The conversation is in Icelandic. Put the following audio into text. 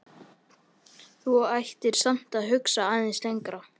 En þú ættir samt að hugsa aðeins lengra.